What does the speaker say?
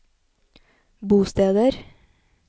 bosteder